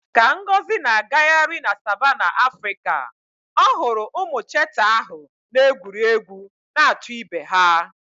Ka Ngozi na-agagharị na savannah Africa, ọ hụrụ ụmụ cheetah ahụ na-egwuri egwu na-achụ ibe ha.